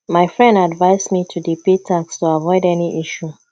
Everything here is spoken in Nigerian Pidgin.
my friend advice me to dey pay tax to avoid any issue